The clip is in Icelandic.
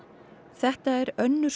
þetta er önnur